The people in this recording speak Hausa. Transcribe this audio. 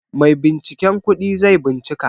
Maibinciken kudi zai bincika.